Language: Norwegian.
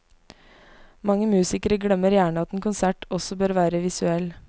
Mange musikere glemmer gjerne at en konsert også bør være visuell.